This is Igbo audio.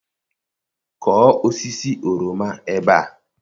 kụọ osisi oroma ebe a!